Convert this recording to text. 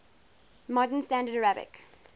modern standard arabic